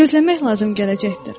Gözləmək lazım gələcəkdir.